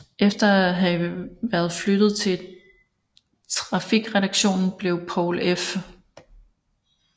Efter at have været flyttet til trafikredaktionen blev Poul F